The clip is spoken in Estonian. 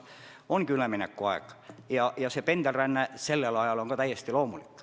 Ongi üleminekuaeg ja pendelränne sellel ajal on ka täiesti loomulik.